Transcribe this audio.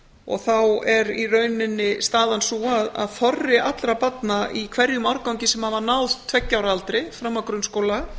og þá er í rauninni staðan sú að þorri allra barna í hverjum árgangi sem hafa ná tveggja ára aldri fram að grunnskóla